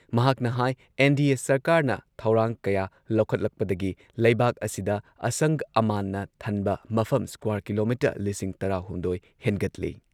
ꯃꯍꯥꯛꯅ ꯍꯥꯏ ꯑꯦꯟ.ꯗꯤ.ꯑꯦ. ꯁꯔꯀꯥꯔꯅ ꯊꯧꯔꯥꯡ ꯀꯌꯥ ꯂꯧꯈꯠꯂꯛꯄꯗꯒꯤ ꯂꯩꯕꯥꯛ ꯑꯁꯤꯗ ꯑꯁꯪ ꯑꯃꯥꯟꯅ ꯊꯟꯕ ꯃꯐꯝ ꯁ꯭ꯀ꯭ꯋꯥꯔ ꯀꯤꯂꯣꯃꯤꯇꯔ ꯂꯤꯁꯤꯡ ꯇꯔꯥꯍꯨꯝꯗꯣꯏ ꯍꯦꯟꯒꯠꯂꯦ꯫